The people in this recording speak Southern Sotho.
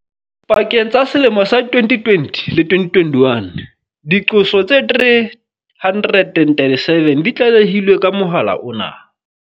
Pakeng tsa selemo sa 2020 le 2021, diqoso tse 337 di tlale hilwe ka mohala ona.